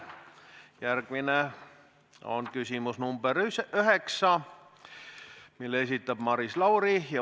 Järgmine on küsimus nr 9, mille esitab Maris Lauri.